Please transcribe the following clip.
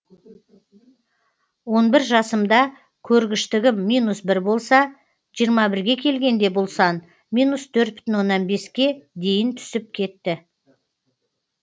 он бір жасымда көргіштігім минус бір болса жиырма бірге келгенде бұл сан минус төрт бүтін оннан беске дейін түсіп кетті